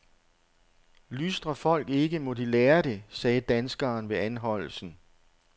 Lystrer folk ikke, må de lære det, sagde danskeren ved anholdelsen.